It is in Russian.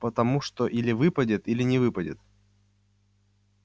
потому что или выпадет или не выпадет